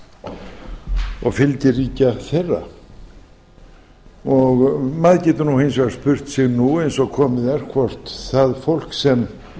sovétríkjanna og fylgiríkja þeirra maður getur hins vegar spurt sig nú eins og komið er hvort það fólk sem